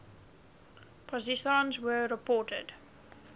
positrons were reported